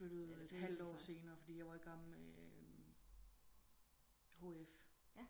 Jeg flyttet et halvt år senere fordi jeg var igang med eh HF